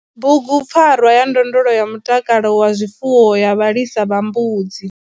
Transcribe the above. Bugupfarwa ya ndondolo ya mutakalo wa zwifuwo ya vhalisa vha mbudzi.